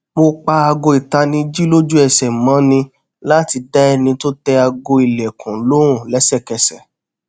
mo pa aago itaniji loju ẹsẹ mo ni lati da ẹni ti o tẹ aago ilẹkun lohun lésèkẹsè